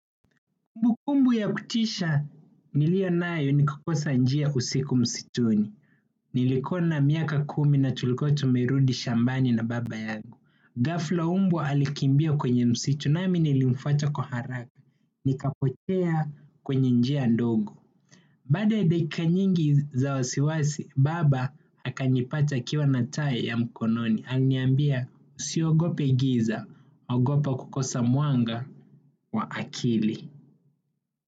Kumbu kumbu ya kutisha niliyo nayo ni kukosa njia usiku msituni. Nilikuwa na miaka kumi na tulikuwa tumerudi shambani na baba yagu. Gafla mbwa alikimbia kwenye msitu nami nilimfwata kwa haraka. Nikapotea kwenye njia ndogo. Baada ya dakika nyingi za wasiwasi, baba akanipata akiwa na taa ya mkononi. Aliniambia usiogope giza, ogopa kukosa mwanga wa akili.